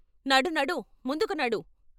నడు నడు ముందుకు నడు.